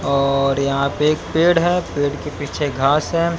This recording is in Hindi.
और यहां पे एक पेड़ है पेड़ के पीछे घास है।